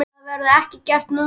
Það verður ekki gert núna.